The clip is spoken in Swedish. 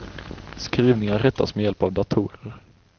Skrivingar rättas med hjälp av datorer.